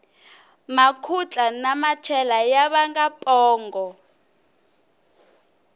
makhutla na machela ya vanga pongo